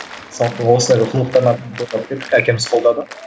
сондықтан осылай бір әкеміз қолдады